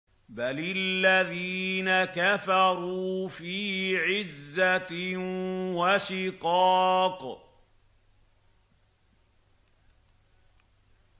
بَلِ الَّذِينَ كَفَرُوا فِي عِزَّةٍ وَشِقَاقٍ